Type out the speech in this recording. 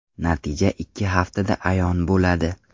Natija ikki haftada ayon bo‘ladi”.